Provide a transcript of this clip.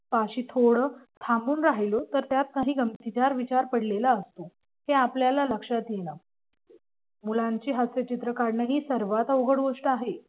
पाशी थोडं थांबून राहिलो तर त्यात काही गमतीदार विचार पडलेला असतो हे आपल्याला लक्षात येणार मुलांची हास्यचित्र काढणं ही सर्वात अवघड गोष्ट आहे.